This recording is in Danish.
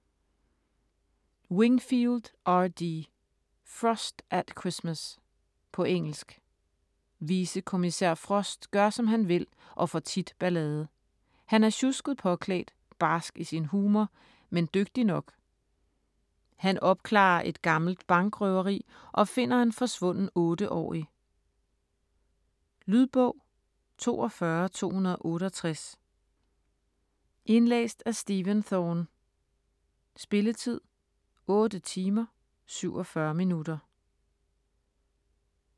Wingfield, R. D.: Frost at Christmas På engelsk. Vicekommissær Frost gør, som han vil, og får tit ballade. Han er sjusket påklædt, barsk i sin humor, men dygtig nok. Han opklarer et gammelt bankrøveri og finder en forsvunden 8-årig. Lydbog 42268 Indlæst af Stephen Thorne Spilletid: 8 timer, 47 minutter.